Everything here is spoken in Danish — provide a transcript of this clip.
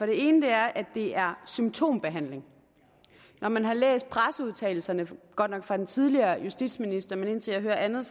ene er at det er symptombehandling når man har læst presseudtalelserne det godt nok fra den tidligere justitsminister men indtil jeg hører andet